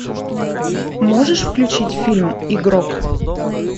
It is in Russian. можешь включить фильм игрок